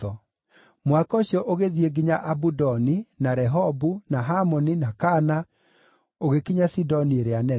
Mũhaka ũcio ũgĩthiĩ nginya Abudoni, na Rehobu, na Hamoni, na Kana, ũgĩkinya Sidoni ĩrĩa Nene.